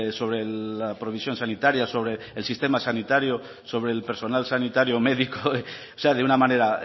sobre la provisión sanitaria sobre el sistema sanitario sobre el personal sanitario médico o sea de una manera